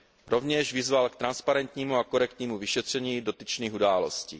Rovněž vyzval k transparentnímu a korektnímu vyšetření dotyčných událostí.